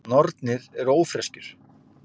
Nornir eru ófreskjur.